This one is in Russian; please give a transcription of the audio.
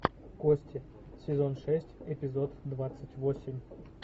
кости сезон шесть эпизод двадцать восемь